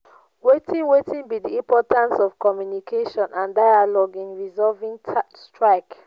wetin wetin be di importance of communication and dialogue in resolving strike?